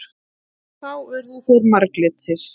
Þá urðu þeir marglitir.